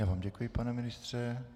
Já vám děkuji, pane ministře.